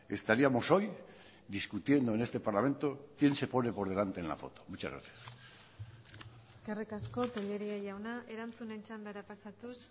estaríamos hoy discutiendo en este parlamento quién se pone por delante en la foto muchas gracias eskerrik asko tellería jauna erantzunen txandara pasatuz